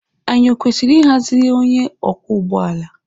Anyị ọ kwesịrị ịhaziri gị onye ọkwọ ụgbọ ala?